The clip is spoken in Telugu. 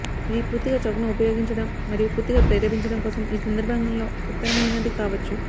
ఇది పూర్తిగా చౌక్ను ఉపయోగించడం మరియు పూర్తిగా ప్రేరేపించడం కోసం ఈ సందర్భంలో ఉత్తమమైనది కావచ్చు